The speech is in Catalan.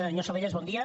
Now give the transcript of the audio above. senyor salellas bon dia